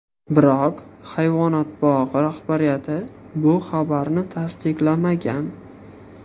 Biroq hayvonot bog‘i rahbariyati bu xabarni tasdiqlamagan.